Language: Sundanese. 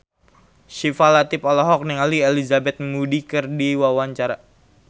Syifa Latief olohok ningali Elizabeth Moody keur diwawancara